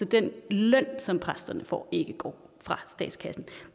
den løn som præsterne får ikke går fra statskassen